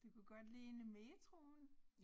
Det kunne godt ligne metroen